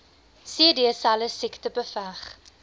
cdselle siekte beveg